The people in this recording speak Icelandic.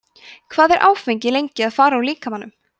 hvað er áfengi lengi að fara úr líkamanum